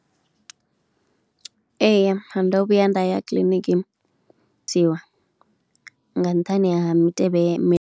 Ee ndo vhuya nda ya kiḽiniki nga nṱhani ha mitevhe mi.